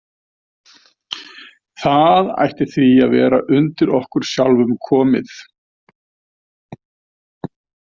Það ætti því að vera undir okkur sjálfum komið.